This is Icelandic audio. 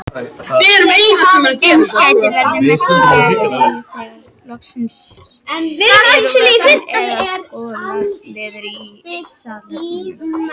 Eins gæti verið merkjanleg tregða þegar losað er úr vöskum eða skolað niður í salernum.